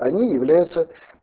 они являются